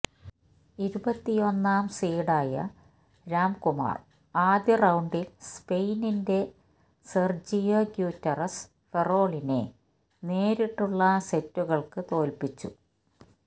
ഇരുപത്തിയൊന്നാം സീഡായ രാംകുമാര് ആദ്യ റൌണ്ടില് സ്പെയിനിന്റെ സെര്ജിയോ ഗ്യൂറ്ററസ് ഫെറോളിനെ നേരിട്ടുളള സെറ്റുകള്ക്ക് തോല്പ്പിച്ചു